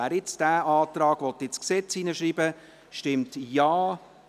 Wer diesen Antrag nun ins Gesetz schreiben will, stimmt Ja,